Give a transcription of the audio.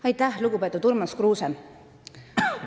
Aitäh, lugupeetud Urmas Kruuse!